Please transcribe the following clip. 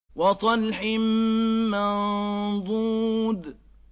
وَطَلْحٍ مَّنضُودٍ